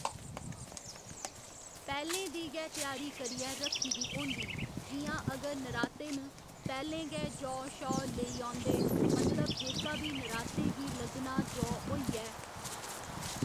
पैह्‌लें दी गै त्यारी करियै रक्खी दी होंदी जि'यां अगर नराते न पैह्‌लें गै जौ शौ लेई औंदे मतलब जेह्का बी नराते गी लग्गना जौ होइए